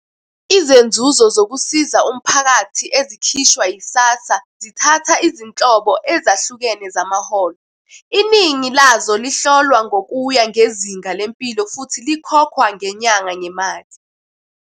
Izenzuzo zokusiza umphakathi ezikhishwa yi-SASSA zithatha izinhlobo ezahlukene zamaholo, iningi lazo lihlolwa ngokuya ngezinga lempilo futhi likhokhwa ngenyanga ngemali.